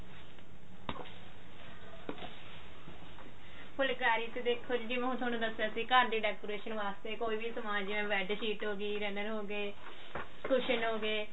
ਫੁਲਕਾਰੀ ਚ ਦੇਖੋ ਜੀ ਜਿਵੇਂ ਹੁਣ ਥੋਨੂੰ ਦੱਸਿਆ ਸੀ ਘਰ ਦੀ decoration ਵਾਸਤੇ ਕੋਈ ਵੀ ਸਮਾਨ ਜਿਵੇਂ bedsheet ਹੋਗੀ runner ਹੋਗੇ cushion ਹੋਗੇ